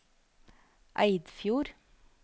Eidfjord